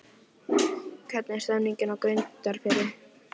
Hvernig er stemningin hjá Grundarfirði?